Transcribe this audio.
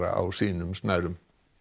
á sínum snærum